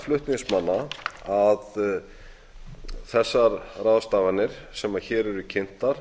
flutningsmanna að þessar ráðstafanir sem hér eru kynntar